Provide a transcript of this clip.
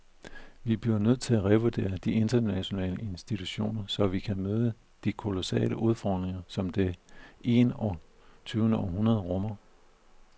Vi bliver nødt til at revurdere de internationale institutioner, så vi kan møde de kolossale udfordringer, som det en og tyvendeårhundrede rummer.